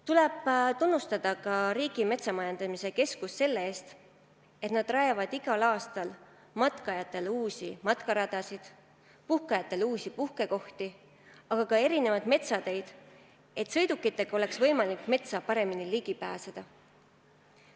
Tuleb tunnustada ka Riigi Metsamajandamise Keskust selle eest, et nad rajavad igal aastal matkajatele uusi matkaradasid, puhkajatele uusi puhkekohti, aga ka metsateid, et sõidukitega oleks võimalik metsa paremini ligi pääseda.